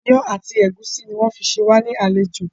Ìyàn àti ẹ̀gúsí ni wọn fi ṣé wá ní àlejò